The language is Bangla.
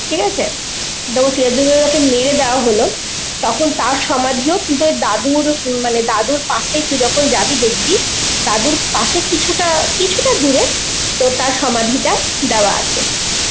ঠিক আছে, সিরাজ উদ্দৌলাকে মেরে দেওয়া হল তখন তার সমাদিও কিন্তু ওই দাদুর~ উম মানে দাদুর পাশে তুই যখন যাবি দেখবি, দাদুর পাশে কিছুটা আঁ কিছুটা দূরে, ও তার সমাধিতা দেওয়া আছে.